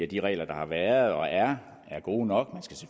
de regler der har været og er er gode nok